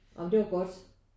Ja men det var godt